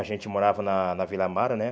A gente morava na na Vila Amara, né?